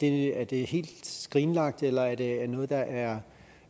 er det helt skrinlagt eller er det noget der er